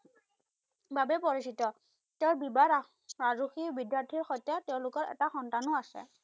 বাবে পৰিচিত। তেওঁৰ বিবাৰা আৰু কি বিদ্যাৰ্থি সৈতে তেওঁলোকৰ এটা সন্তানো আছে।